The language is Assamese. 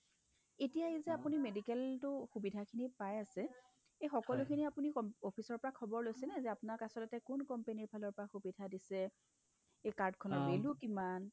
এতিয়া আহিল এই যে আপুনি medical টো সুবিধাখিনি পাই আছে এই সকলোখিনি আপুনি অব্ office ৰ পৰা খবৰ লৈছেনে যে আপোনাক আচলতে কোন company ৰ ফালৰ পৰা সুবিধা দিছে card খনৰ bill ও কিমান